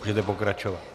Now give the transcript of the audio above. Můžete pokračovat.